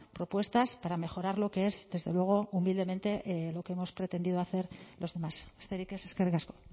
propuestas para mejorar lo que es desde luego humildemente lo que hemos pretendido hacer los demás besterik ez eskerrik asko